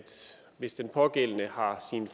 hvis den pågældende har sine